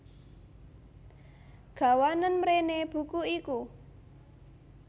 Gawanen mréné buku iku